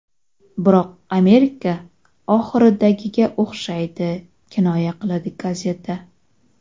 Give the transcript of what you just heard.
Biroq Amerika oxiridagiga o‘xshaydi”, kinoya qiladi gazeta.